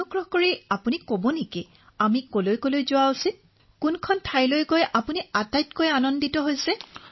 আপুনি আমাক কবনে কোন ঠাইলৈ যাব লাগে আৰু কোন ঠাইলৈ গৈ আপুনি সবাতোকৈ ভাল পাইছিল